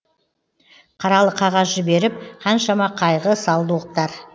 қаралы қағаз жіберіп қаншама қайғы салды оқтар